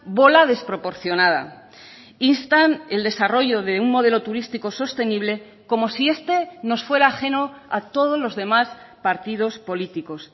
bola desproporcionada instan el desarrollo de un modelo turístico sostenible como si este nos fuera ajeno a todos los demás partidos políticos